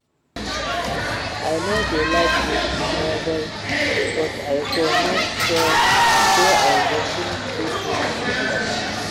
I no dey like read novel but I go make sure say I go finish dis one today